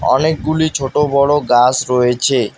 অনেকগুলি ছোট বড় গাস রয়েছে।